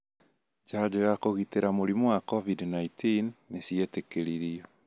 Njajo ya kũgitĩra mũrimũ wa COVID-19 nĩ ciĩtĩkĩririo